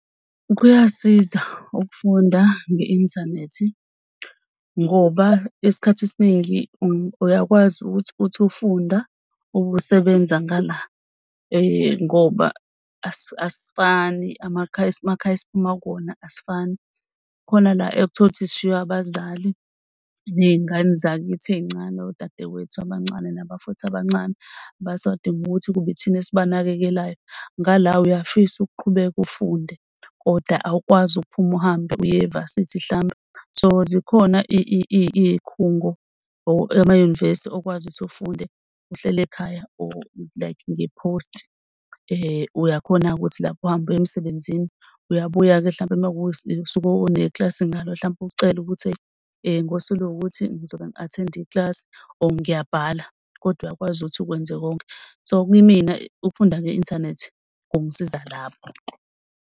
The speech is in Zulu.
Kuyasiza ukufunda nge-inthanethi ngoba isikhathi esiningi uyakwazi ukuthi uthi ufunda ube usebenza ngala ngoba asifani amakhaya esiphuma kuwona asifani. Khona la ekuthola ukuthi sishiwe, abazali ney'ngane zakithi ey'ncane. Odadewethu abancane nabafowethu abancane basadinga ukuthi kube ithina esibanakekelayo ngala uyafisa ukuqhubeka ufunde kodwa awukwazi ukuphuma uhambe uye e-varsity mhlawumbe. So zikhona iy'khungo or amayunivesi okwazi ukuthi ufunde uhleli ekhaya or like nge-post. Uyakhona-ke ukuthi lapho uhambe uye emsebenzini Uyabuya-ke mhlawumbe uma kuwusuku onekilasi ngalo. Mhlampe ucele ukuthi ngosuku oluwukuthi ngizobe ngi-attend-a ikilasi or ngiyabhala kodwa uyakwazi ukuthi ukwenza konke. So kumina ukufunda nge-inthanethi kungisiza lapho.